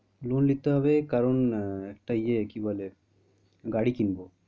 Loan নিতে হবে কারণ আহ একটা ইয়ে কি বলে গাড়ি কিনবো।